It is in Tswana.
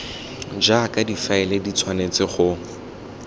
jaaka difaele di tshwanetse go